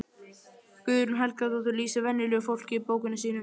Guðrún Helgadóttir lýsir venjulegu fólki í bókunum sínum.